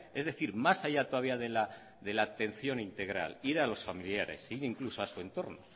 es decir más allá todavía de la atención integral ir a los familiares ir incluso a su entorno